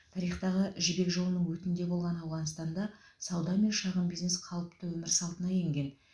тарихтағы жібек жолының өтінде болған ауғанстанда сауда мен шағын бизнес қалыпты өмір салтына енген